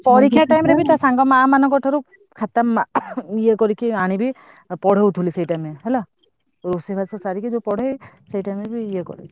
ତା ସାଙ୍ଗ ମାଆମାନଙ୍କ ଠାରୁ ଖାତା ଇଏ କରିକି ଆଣିବି ପଢଉଥିବୁ ସେଇ time ରେ ହେଲା ଆଉ ରୋଷେଇ ବାସ ସାରିକି ପଢେଇବୁ ସେଇ time ରେ ବି ଇଏ କରେ।